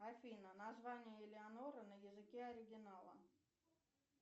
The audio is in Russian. афина название элеонора на языке оригинала